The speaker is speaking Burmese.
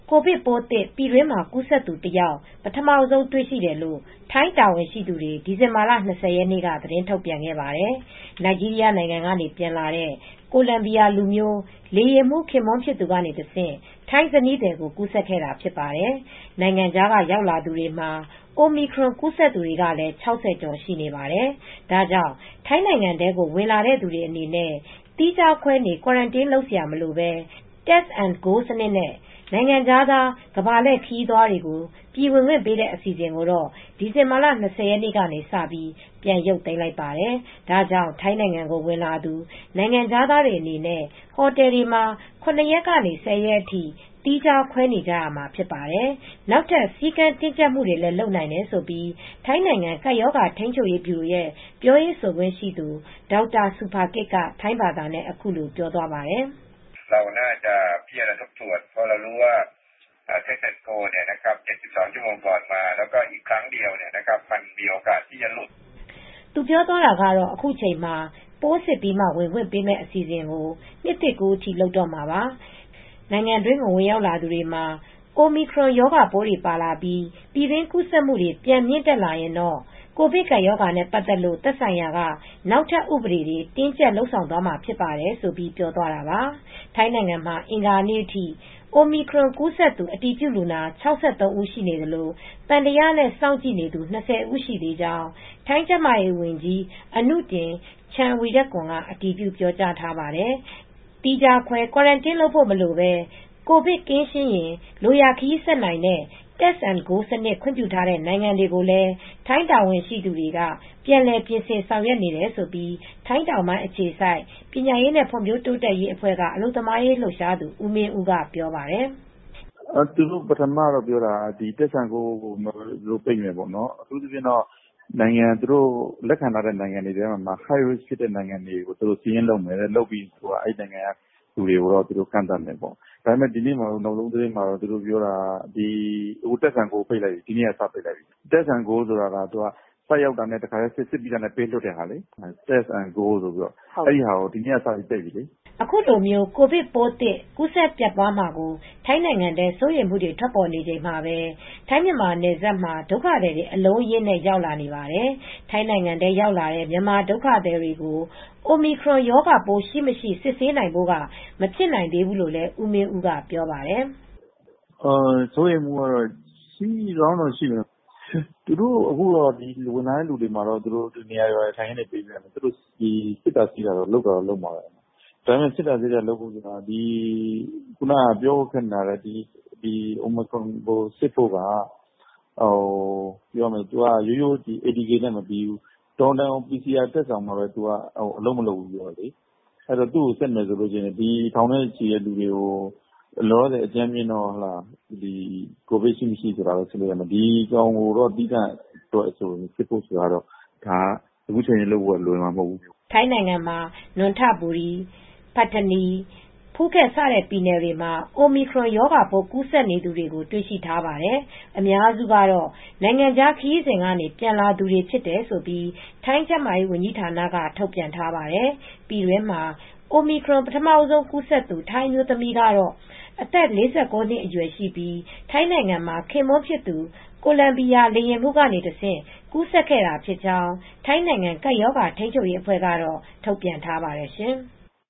ကိုဗစ်ပိုးသစ် ပြည်တွင်းမှာ ကူးစက်သူ ၁ ယောက် ပထမဆုံးတေ့ွရှိတယ်လို့ ထိုင်းတာဝန်ရှိသူတွေက ဒီဇင်ဘာ ၂၀ ရက်နေ့မှာ သတင်းထုတ်ပြန်ခဲ့ပါတယ်။ နိုင်ဂျီးရီးယားနိုင်ငံကပြန်လာတဲ့ ကိုလံဘီယာလူမျိုး လေယာဉ်မှူး ခင်ပွန်းဖြစ် သူကတဆင့် ထိုင်းဇနီးသည်ကို ကူးစက်တာဖြစ်ပါတယ်။ နိုင်ငံခြားကရောက်လာသူတွေမှာ Omicron ကူးစက်သူကလည်း ၆၀ ကျော်ရှိနေပါတယ်။ ဒါကြောင့်ထိုင်းနိုင်ငံထဲဝင်လာသူအနေနဲ့ သီးခြားခွဲနေရတဲ့ ကွာရန်တင်းလုပ်စရာ မလိုဘဲ Test and Go စနစ်နဲ့ နိုင်ငံခြားသား ကမ္ဘာလှည့်ခရီးသွားတွေကို ပြည်ဝင်ခွင့်ပေးတဲ့ အစီအစဉ်ကို ဒီဇင်ဘာ ၂၀ ရက်ကစပြီး ပြန်ရုပ်သိမ်းလိုက်ပါတယ်။ ဒါကြောင့် ထိုင်းနိုင် ငံကို ဝင်လာသူ နိုင်ငံခြားသားအနေနဲ့ ဟိုတယ်တွေမှာ ၇ ရက်ကနေ ၁၀ ရက်အထိ သီးခြားခွဲနေကြရမှာဖြစ်ပါတယ်။ နောက်ထပ် စည်းကမ်းတင်းကြပ်မှုတွေလည်း လုပ်နိုင်တယ်လို့ ထိုင်းနိုင်ငံကပ်ရောဂါ ထိမ်းချုပ်ရေးဗျူရို ပြောရေးဆိုခွင့်ရှိသူ ဒေါက်တာ ဆူဖာကစ်က ထိုင်းဘာသာနဲ့ အခုလိုပြောပါတယ်။ သူ ပြောတာကတော့ “အခုချိန်မှာ ပိုးစစ်ပြီးမှ ဝင်ခွင့်ပေးမယ့် အရေးပေါ် အစီအစဉ်ကို နှစ်သစ်ကူးတဲ့အထိ လုပ်တော့မှာပါ၊ နိုင်ငံအတွင်းကို ဝင်ရောက်လာတဲ့သူတွေမှာ Omicrom ရောဂါပိုးတွေပါလာပြီး ပြည်တွင်းကူးဆက်မှု ပြန်မြင့်တက်လာရင်တော့ ကိုဗစ်ကပ်ရောဂါနဲ့ပတ်သက်လို့ သက်ဆိုင်ရာက နောက်ထပ် ဥပဒေတွေ တင်းကြပ် လုပ်ဆောင်သွားမှာဖြစ်ပါတယ်။..” ဆိုပြီးပြောသွားတာပါ။ ထိုင်းနိုင်ငံမှာ အင်္ဂါနေ့အထိ အိုမီခရွန်ပိုးကူးစက်သူ အတည်ပြုလူနာ ၆၃ ဦးနေသလို သံသယနဲ့ စောင့်ကြည့်နေသူ ၂၀ ရှိနေသေးကြောင်း ထိုင်းကျန်းမာရေးဝန်ကြီး အနုထင် ချန်ဝီရကွန်က အတည်ပြုပြောကြားထားပါတယ်။ သီးခြားခွဲ ကွာရန်တင်းလုပ်ဖို့ မလိုဘဲ ကိုဗစ်ကင်းရှင်းရင် လိုရာခရီးဆက်နိုင်တဲ့ Test and Go စနစ်ခွင့်ပြုထားတဲ့ နိုင်ငံတွေကိုလည်း ထိုင်းတာဝန်ရှိသူတွေ ပြန်လည်ပြင်ဆင်ဖို့ ဆောင် ရွက် နေတယ်လို့ ထိုင်းတောင်ပိုင်းအခြေစိုက် ပညာရေးဖွံ့ဖြိုးတိုးတက်ရေးအဖွဲ့ အလုပ်သမားရေးလှုပ်ရှားသူဦးမင်ဦးက ပြောပြပါတယ်။ “သူတို့ပထမပြောတာကတော့ Test and Go ကို ပိတ်မယ်ပေါ့။ သူတို့လက်ခံထားတဲ့ နိုင်ငံတွေထဲက High Risk ဖြစ်တဲ့နိုင်ငံတွေကို စာရင်းလုပ်ပြီး သူတို့ပိတ်မယ်ပြောတယ်။ အခုနောက်ဆုံးသတင်းအရကတော့ Test and Go ကို သူတို့ပိတ်လိုက်ပြီ။ Test and Go ဆိုတာကတော့ စရောက်တာနဲ့တခါတည်း စစ်ပြီးပေးထွက်တာလေ။ Test and Go ဆိုတာကို ဒီနေ့ကနေ စပြီးပိတ်ပြီလေ။” ခုလိုကိုဗစ်ပိုးသစ် ကူးစက်ပျံ့ပွားမှာကို ထိုင်းနိုင်ငံထဲ စိုးရိမ်မှုတွေ ထွက်ပေါ်နေချိန် မှာပဲ ထိုင်းမြန်မာနယ်စပ်ဘက်မှာ ဒုက္ခသည်တွေ အလုံးအရင်းနဲ့ ရောက်လာနေပါတယ်။ ထိုင်းနိုင်ငံထဲရောက်လာတဲ့ မြန်မာဒုက္ခသည်တွေကို Omicron ရောဂါပိုး ရှိမရှိ စစ်ဆေးနိုင်ဖို့မဖြစ်နိုင်သေးဘူးလို့လည်း ကိုမင်းဦးက ပြောပါတယ်။ “စိုးရိမ်မှုကတော့ရှိကောင်းရှိလိမ့်မယ်။ သူတို့က အခုဝင်လာတဲ့သူတွေကို နေရာထိုင်ခင်းတွေပေးပြီး စစ်တာဆေးတာတွေကိုတော့ လုပ်တော့လုပ်မှာပဲ။ ဒါပေမယ့် Omicron စစ်ဖို့က ရိုးရိုး ATK နဲ့မပြီးဘူး။တော်ရုံတန်ရုံ PCR စက်တောင်မှာ အလုပ် မလုပ်ဘူးဆိုတော့လေ၊ သူ့ကိုစစ်မယ်ဆိုရင် လူထောင်နဲ့ချီပြီး ရှိနေတဲ့သူတွေကိုတော့ လောလောဆယ် အကြမ်းဖျင်း ကိုဗစ်ရှိမရှိဆိုတာပဲ စစ်လို့ရမယ်။ Omicron စစ်ဖို့ကတော့ အခုချက်ချင်းလုပ်ဖို့လွယ်မှာမဟုတ်ဘူး။” ထိုင်းနိုင်ငံမှာ Nonthaburi၊ Pattani၊ Phuket စတဲ့ ပြည်နယ်တွေမှာOmicron ရောဂါပိုးကူးစက်နေသူတွေကို တေ့ွရှိထားပါတယ်။ အများစုကတော့ နိုင်ငံခြားခရီးစဉ်ကနေပြန်လာတဲ့သူတွေလို့ ထိုင်းကျန်းမာရေးဝန်ကြီးဌာနက ထုတ်ပြန်ထားပါတယ်။ ပြည်တွင်းမှာ Omicron ပထမဆုံးကူးစက်သူ ထိုင်းအမျိုးသမီးကတော့ အသက် ၄၉ နှစ်အရွယ်ရှိပြီး ထိုင်းနိုင်ငံမှာ ခင်ပွန်းဖြစ်သူ ကိုလံဘီယာလေယာဉ်မှူးဆီကနေတဆင့်ကူးစက်ခဲ့တာဖြစ်ကြောင်း ထိုင်းနိုင်ငံကပ်ရောဂါထိန်းချုပ်ရေးအဖွဲ့က ထုတ်ပြန်ထားပါတယ် ရှင်။